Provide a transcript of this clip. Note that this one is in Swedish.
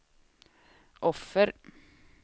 offer